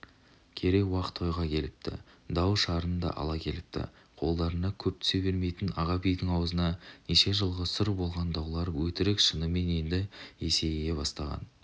керей-уақ тойға да келіпті дау-шарын да ала келіпті қолдарына көп түсе бермейтін аға бидің ауызына неше жылғы сұр болған даулар өтірік шынымен енді есейе бастаған